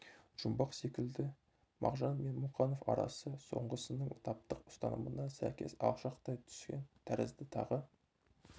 жұмбақ бар секілді мағжан мен мұқанов арасы соңғысының таптық ұстанымына сәйкес алшақтай түскен тәрізді тағы